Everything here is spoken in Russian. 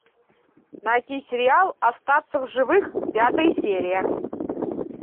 найти сериал остаться в живых пятая серия